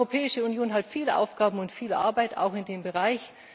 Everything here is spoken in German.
Die Europäische Union hat viele Aufgaben und viel Arbeit auch in diesem Bereich.